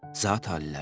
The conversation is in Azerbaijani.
Zatı-aliləri!